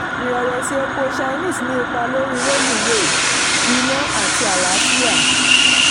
irẹ̀wẹ̀si epo chinese ní ipa lórí reluwee iná àti àlàáfíà.